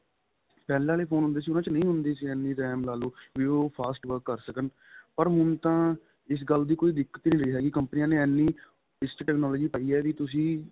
ਪਹਿਲਾਂ ਵਾਲੇ phone ਦੇ ਸੀ ਉਹਨਾ ਚ ਨਹੀਂ ਹੁੰਦੀ ਸੀ ਇੰਨੀ RAM ਲਾ ਲੋ ਬੀ ਉਹ fast work ਕਰ ਸਕਣ ਪਰ ਹੁਣ ਤਾਂ ਇਸ ਗੱਲ ਦੀ ਕੋਈ ਦਿਕਤ ਨਹੀਂ ਰਹੀ ਹੈਗੀ ਕੰਪਨੀਆਂ ਨੇ ਇੰਨੀ ਇਸ ਤਰਾਂ ਦੀ technology ਪਾਈ ਏ ਬੀ ਤੁਸੀਂ